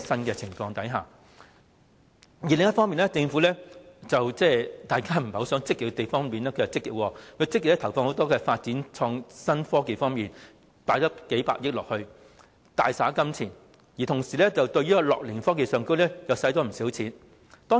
另一方面，大家不想政府太過積極的地方，政府反而做得積極，積極投放數百億元發展創新科技，大灑金錢，同時對樂齡科技方面亦花了不少金錢。